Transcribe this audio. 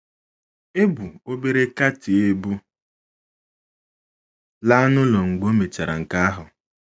E bu obere Katie ebu laa n’ụlọ mgbe ọ mèchàrà nke ahụ.